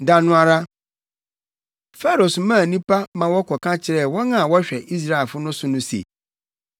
Da no ara, Farao somaa nnipa ma wɔkɔka kyerɛɛ wɔn a wɔhwɛ Israelfo no so no se,